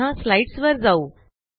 पुन्हा स्लाईडसवर जाऊ